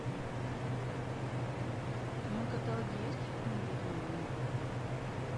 в твоем каталоге есть фильм ведьма войны